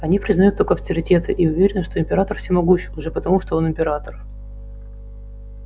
они признают только авторитеты и уверены что император всемогущ уже потому что он император